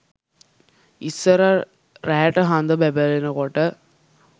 ඉස්සර රෑට හඳ බැබලෙනකොට